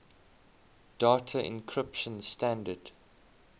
data encryption standard